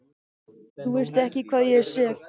Þú veist ekki hvað ég er sek.